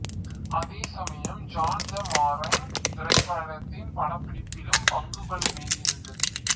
அதேசமயம் John the Marine திரைப்படத்தின் படப்பிடிப்பிலும் பங்குகொள்ள வேண்டியிருந்தது